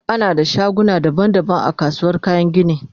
ana da shaguna daban daban a kasuwar kayan gini